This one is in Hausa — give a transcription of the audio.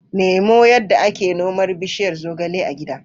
Nemo yadda ake noman bishiyar zogale a gida.